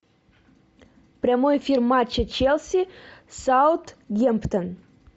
прямой эфир матча челси саутгемптон